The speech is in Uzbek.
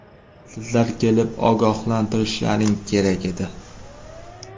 Sizlar kelib ogohlantirishlaring kerak edi.